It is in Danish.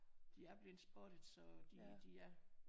De er bleven spottet så de de er